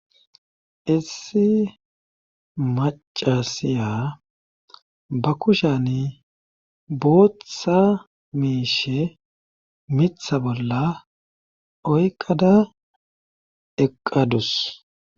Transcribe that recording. issi macasiya ba kushani booththa miishe mitha bolla oyqada eqqadus